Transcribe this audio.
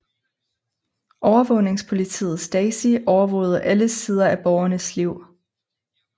Overvågningspolitiet Stasi overvågede alle sider af borgernes liv